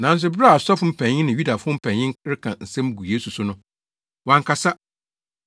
Nanso bere a asɔfo mpanyin ne Yudafo mpanyin reka nsɛm gu Yesu so no, wankasa.